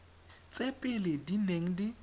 tse pele di neng di